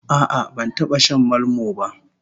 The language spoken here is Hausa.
A'a, ban taba shan malmo ba